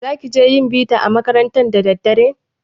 Za ki je yin bita a makaranta da daddare?